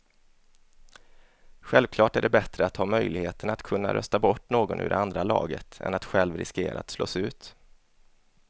Självklart är det bättre att ha möjligheten att kunna rösta bort någon ur det andra laget än att själv riskera att slås ut.